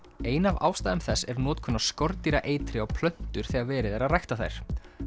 ein af ástæðum þess er notkun á skordýraeitri á plöntur þegar verið er að rækta þær